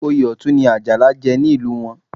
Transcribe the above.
Oyè Ọ̀tún ni Àjàlá jẹ nílùú wọn